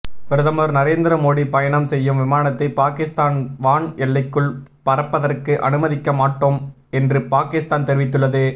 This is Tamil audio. பிரதமர் நரேந்திர மோடி பயணம் செய்யும் விமானத்தை பாகிஸ்தான் வான் எல்லைக்குள் பறப்பதற்கு அனுமதிக்க மாட்டோம் என்று பாகிஸ்தான் தெரிவித்துள்ளது